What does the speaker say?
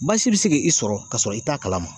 Baasi be se ki i sɔrɔ kasɔrɔ i t'a kalama.